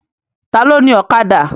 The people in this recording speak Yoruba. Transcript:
Ta ló ni Ọ̀kadà?